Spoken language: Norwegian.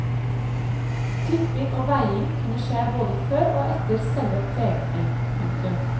Klipping og veiing kunne skje både før og etter selve pregningen. punktum